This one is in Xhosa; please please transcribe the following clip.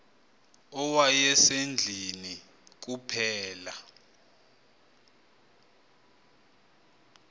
owaye sendlwini kuphela